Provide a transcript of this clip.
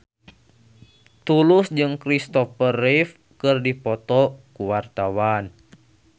Tulus jeung Christopher Reeve keur dipoto ku wartawan